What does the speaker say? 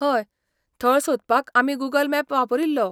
हय, थळ सोदपाक आमी गूगल मॅप वापरिल्लो.